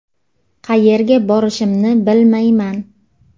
Qayerga borishimni bilmayman.